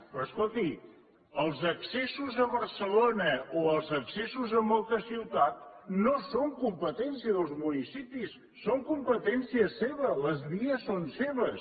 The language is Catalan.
però escolti els accessos a barcelona o els accessos a moltes ciutats no són competència dels municipis són competència seva les vies són seves